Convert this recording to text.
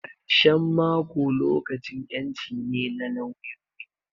Karshen mako lokacin ƴanci ne na lawyoyi.